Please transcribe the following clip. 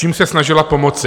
Čím se snažila pomoci?